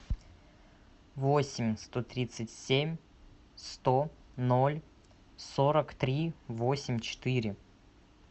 восемь сто тридцать семь сто ноль сорок три восемь четыре